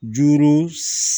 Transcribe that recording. Juru